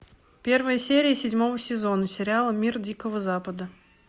первая серия седьмого сезона сериала мир дикого запада